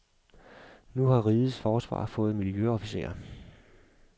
Nu har rigets forsvar fået miljøofficerer.